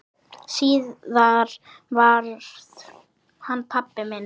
Síðar varð hann pabbi minn.